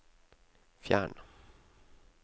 fjern